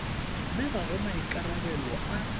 mme ga go maikarabelo a